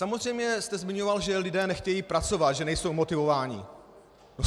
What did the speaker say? Samozřejmě jste zmiňoval, že lidé nechtějí pracovat, že nejsou motivováni.